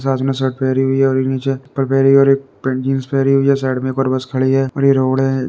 ते सब में शर्ट पहरी हुई है और नीचे चप्पल पहरी और एक जींस पेनी हुई है। साइड में एक और बस खड़ी हुई है और एक रोड है